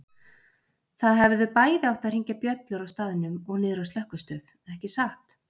Það hefðu bæði átt að hringja bjöllur á staðnum og niðri á slökkvistöð, ekki satt?